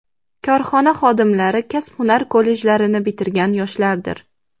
Korxona xodimlari kasb-hunar kollejlarini bitirgan yoshlardir.